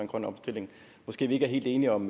grøn omstilling måske vi ikke er helt enige om